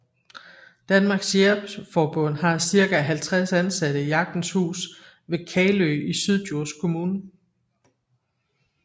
Danmarks Jægerforbund har cirka 50 ansatte i Jagtens Hus ved Kalø i Syddjurs kommune